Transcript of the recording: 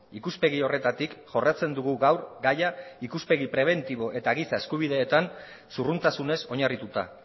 ikuspegi horretatik jorratzen dugu gaur gaia ikuspegi prebentibo eta giza eskubideetan zurruntasunez oinarrituta